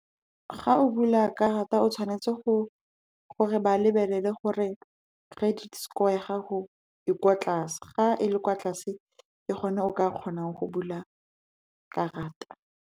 Ga o bula karata, o tshwanetse gore ba lebelele gore credit score ya gago e kwa tlase. Ga e le kwa tlase, ke gone o ka kgonang go bula karata.